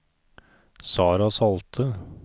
Sarah Salte